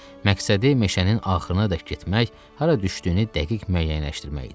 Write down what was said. Məqsədi meşənin axırınadək getmək, hara düşdüyünü dəqiq müəyyənləşdirmək idi.